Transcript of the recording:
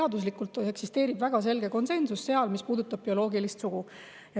Teaduslikult eksisteerib väga selge konsensus selles, mis puudutab bioloogilist sugu.